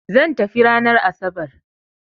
Zan tafi ranan asabar